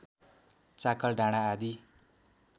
चाकल डाँडा आदि